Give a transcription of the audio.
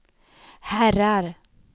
herrar